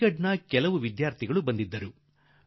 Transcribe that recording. ಅಲಿಘಡದ ಕೆಲವು ವಿದ್ಯಾರ್ಥಿಗಳು ನನ್ನ ಬಳಿ ಬಂದಿದ್ದರು